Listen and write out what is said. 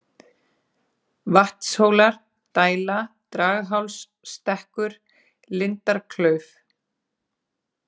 Vatnshólar, Dæla, Draghálsstekkur, Lindarklauf